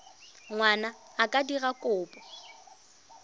ngwana a ka dira kopo